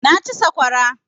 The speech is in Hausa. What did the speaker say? Na ci saƙwara